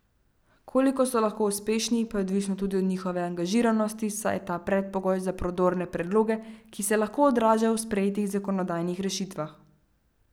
Koliko so lahko uspešni, pa je odvisno tudi od njihove angažiranosti, saj je ta predpogoj za prodorne predloge, ki se lahko odražajo v sprejetih zakonodajnih rešitvah.